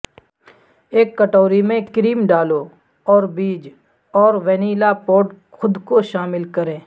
ایک کٹوری میں کریم ڈالو اور بیج اور وینیلا پوڈ خود کو شامل کریں